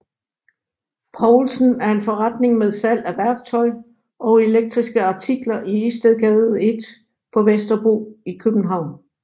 Poulsen en forretning med salg af værktøj og elektriske artikler i Istedgade 1 på Vesterbro i København